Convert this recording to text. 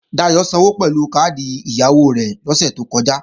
Dayò sanwó pẹ̀lú káàdì ẹ̀yáwó rẹ̀ lọ́sè tó kọjá